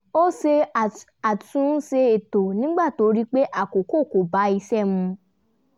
ó ṣe àtúnṣe ètò nígbà tó rí pé àkókò kọ bá iṣẹ́ mu